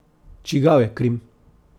Čigav je Krim?